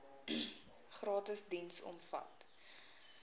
gratis diens omvat